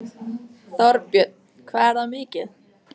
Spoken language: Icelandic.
Þorbjörn: Hvað er það mikið?